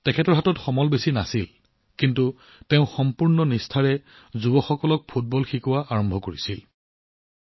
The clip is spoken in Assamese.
ৰায়েছ জীৰ হাতত বিশেষ সম্পদ নাছিল যদিও তেওঁ সম্পূৰ্ণ নিষ্ঠাৰে যুৱকযুৱতীসকলক ফুটবল শিকোৱা আৰম্ভ কৰিছিল